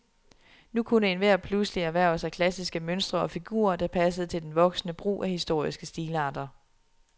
Nu kunne enhver pludselig erhverve sig klassiske mønstre og figurer, der passede til den voksende brug af historiske stilarter.